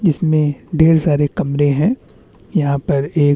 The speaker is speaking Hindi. कूलर के पंखे दिखाई दे रहे है और निचे एक लाइट लगी हुई है।